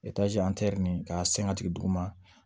nin k'a sen ka jigin duguma